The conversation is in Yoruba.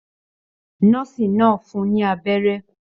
Nọ́ọ́sì náà fún ní abẹ́rẹ́.